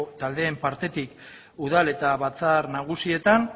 taldeen partetik udal eta batzar nagusietan